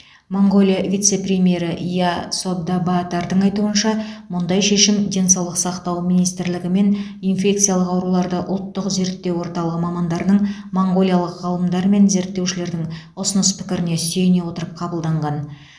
моңғолия вице премьері я содбаатардың айтуынша мұндай шешім денсаулық сақтау министрлігі мен инфекциялық ауруларды ұлттық зерттеу орталығы мамандарының моңғолиялық ғалымдар мен зерттеушілердің ұсыныс пікіріне сүйене отырып қабылданған